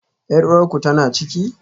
Yar uwarku tana ciki?